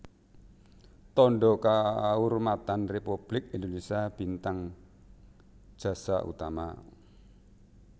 Tandha Kaurmatan Républik Indonésia Bintang Jasa Utama